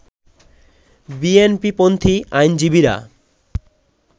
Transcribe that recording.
বিএনপিপন্থি আইনজীবীরা